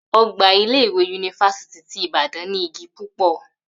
Ò̩gbà ilé-ìwé yunifásítì ti Ìbàdán ní igi púpò̩